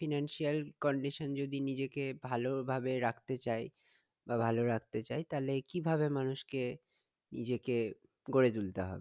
Financial condition যদি নিজেকে ভালো ভাবে রাখতে চাই বা ভালো রাখতে চাই তাহলে কিভাবে মানুষকে নিজেকে গড়ে তুলতে হবে